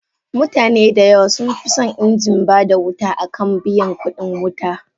Mutane dayawa sunfison inji bada wuta akan biyan kudin wuta.